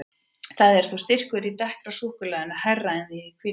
Þó er styrkurinn í dekkra súkkulaðinu hærri en í því hvíta.